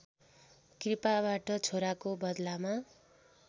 कृपाबाट छोराको बदलामा